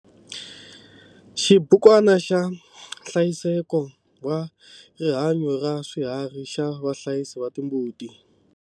Xibukwana xa nhlayiseko wa rihanyo ra swiharhi xa vahlayisi va timbuti.